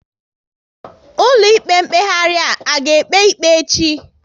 Ụlọ ikpe mkpeghari a ga ekpe ikpe echi?